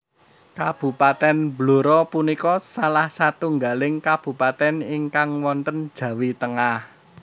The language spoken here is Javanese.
Kabupatèn Blora punika salah satunggaling kabupatèn ingkang wonten Jawi Tengah